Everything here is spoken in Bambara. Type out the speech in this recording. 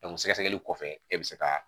sɛgɛsɛgɛli kɔfɛ e bɛ se ka